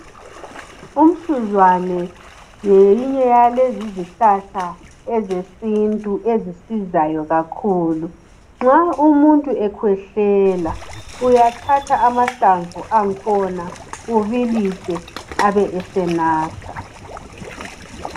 Umsuzwane ngeyinye yalezi izihlahla ezisizayo zesintu ezisizayo kakhulu nxa umuntu ekhwehlela uyathatha amahlamvu angikhona ubilise abesenatha.